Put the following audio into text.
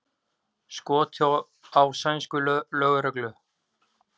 Skotið á sænska lögreglu